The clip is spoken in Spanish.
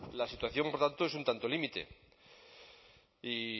la situación por tanto es un tanto límite y